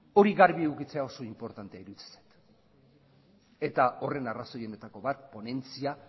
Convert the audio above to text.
hori garbi edukitzea oso inportantea iruditzen zait eta horren arrazoienetako bat ponentzia